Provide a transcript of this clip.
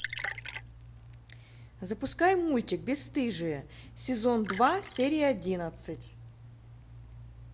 запускай мультик бесстыжие сезон два серия одиннадцать